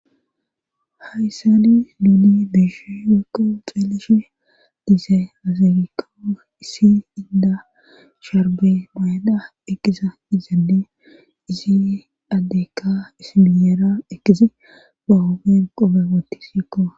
Hayssani duuni biishi gekko xeelishe diise azagikko issi inda sharbe mayda ekisa izade izi addeykka ismiyeera eqisi bahoben qobe wootti sikko.